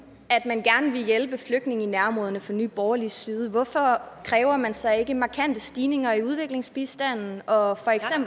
at man gerne vil hjælpe flygtninge i nærområderne fra nye borgerliges side hvorfor kræver man så ikke markante stigninger i udviklingsbistanden og